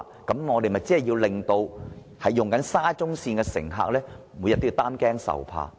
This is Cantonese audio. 否則，豈不是令沙中線的乘客每天也擔驚受怕？